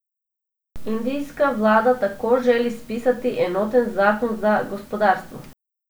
Indijska vlada tako želi spisati enoten zakon za gospodarstvo.